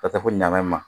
Ka taa ko ɲaman ma